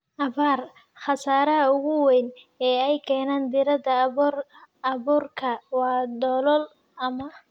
abaar. Khasaaraha ugu weyn ee ay keenaan diirrada aboorku waa dalool ama